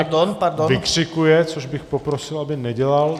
Pan poslanec Martínek vykřikuje, což bych poprosil, aby nedělal.